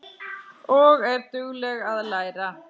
Og er dugleg að læra.